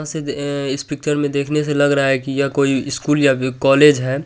यहाँ से अ इस पिकचर में देखने से लग रहा है की यह कोई स्कूल या कॉलेज है।